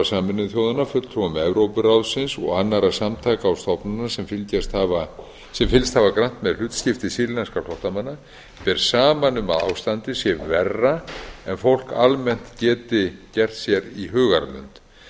sameinuðu þjóðanna fulltrúum evrópuráðsins og annarra samtaka og stofnana sem fylgst hafa grannt með hlutskipti sýrlenskra flóttamanna ber saman um að ástandið sé verra en fólk almennt geti gert sér í hugarlund